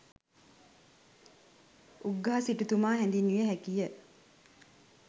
උග්ගහ සිටුතුමා හැඳින්විය හැකි ය.